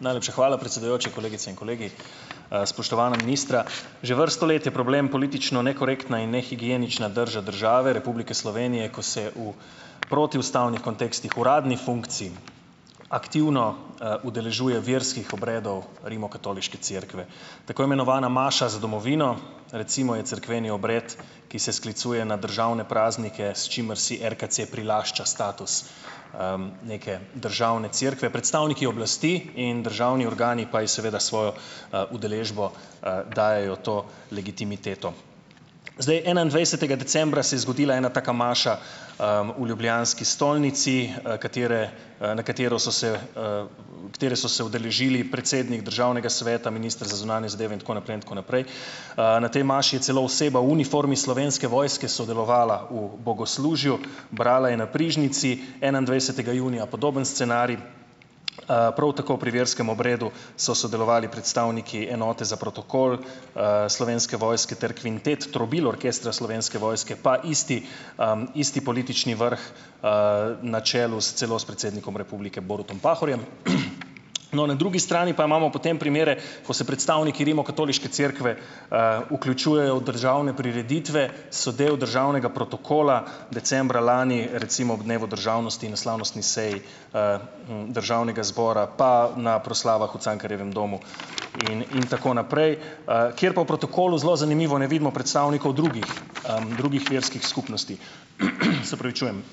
Najlepša hvala, predsedujoči. Kolegice in kolegi, spoštovana ministra. Že vrsto let je problem politično nekorektna in nehigienična drža države Republike Slovenije, ko se v protiustavnih kontekstih, uradni funkciji aktivno, udeležuje verskih obredov Rimokatoliške cerkve. Tako imenovana maša za domovino, recimo, je cerkveni obred, ki se sklicuje na državne praznike, s čimer si RKC prilašča status, neke državne cerkve. Predstavniki oblasti in državni organi pa ji seveda s svojo, udeležbo, dajejo to legitimiteto. Zdaj enaindvajsetega decembra se je zgodila ena taka maša, v ljubljanski stolnici, katere, na katero so se, katere so se udeležili predsednik Državnega sveta, minister za zunanje zadeve in tako naprej in tako naprej. Na tej maši je celo oseba v uniformi Slovenske vojske sodelovala v bogoslužju, brala je na prižnici. Enaindvajsetega junija podoben scenarij, prav tako pri verskem obredu so sodelovali predstavniki enote za protokol, Slovenske vojske ter kvintet trobil orkestra Slovenske vojske pa isti, isti politični vrh, na čelu, s celo s predsednikom republike Borutom Pahorjem. No, na drugi strani pa imamo potem primere, ko se predstavniki Rimokatoliške cerkve, vključujejo v državne prireditve, so del državnega protokola, decembra lani recimo ob dnevu državnosti in na slavnostni seji, državnega zbora, pa na proslavah v Cankarjevem domu in in tako naprej, kjer pa v protokolu, zelo zanimivo, ne vidimo predstavnikov drugih, drugih verskih skupnosti. Se opravičujem.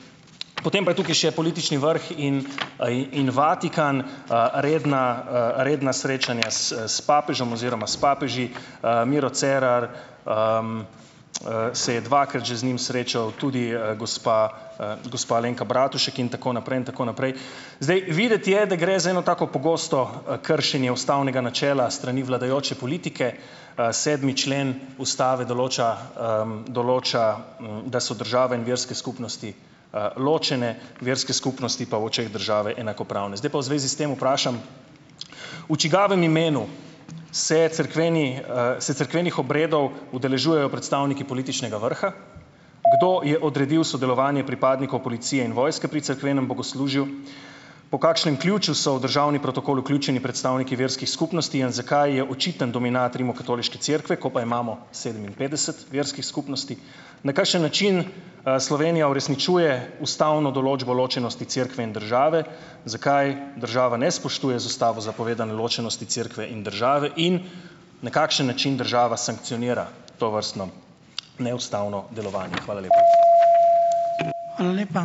Potem pa je tukaj še politični vrh in, in Vatikan, redna, redna srečanja s s papežem oziroma s papeži. Miro Cerar, se je dvakrat že z njim srečal, tudi, gospa, gospa Alenka Bratušek in tako naprej in tako naprej. Zdaj videti je, da gre za eno tako pogosto kršenje ustavnega načela s strani vladajoče politike. Sedmi člen ustave določa, določa, da so države in verske skupnosti, ločene, verske skupnosti pa v očeh države enakopravne. Zdaj pa v zvezi s tem vprašam, v čigavem imenu se cerkveni se cerkvenih obredov udeležujejo predstavniki političnega vrha? Kdo je odredil sodelovanje pripadnikov policije in vojske pri cerkvenem bogoslužju? Po kakšnem ključu so v državni protokol vključeni predstavniki verskih skupnosti in zakaj je očiten dominat Rimokatoliške cerkve, ko pa imamo sedeminpetdeset verskih skupnosti? Na kakšen način, Slovenija uresničuje ustavno določbo ločenosti cerkve in države? Zakaj država ne spoštuje z ustavo zapovedane ločenosti cerkve in države? In na kakšen način država sankcionira tovrstno neustavno delovanje. Hvala lepa .